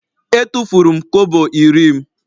E tụfuru m kobo iri m.